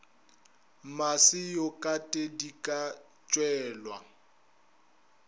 mmase yokate di ka tšhelwa